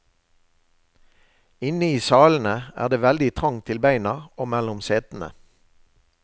Inne i salene er det veldig trangt til beina og mellom setene.